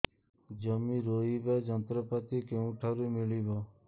ଜମି ରୋଇବା ଯନ୍ତ୍ରପାତି କେଉଁଠାରୁ ମିଳିବ